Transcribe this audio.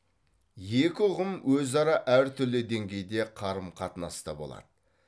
екі ұғым өзара әртүрлі деңгейде қарым қатынаста болады